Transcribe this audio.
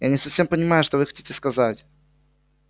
я не совсем понимаю что вы хотите сказать